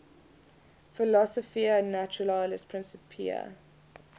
philosophiae naturalis principia